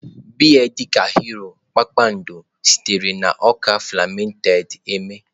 Beer dị ka Hero, Kpakpando, sitere na ọka fermented eme.